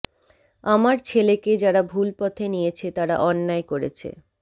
আমার ছেলেকে যারা ভুল পথে নিয়েছে তারা অন্যায় করেছে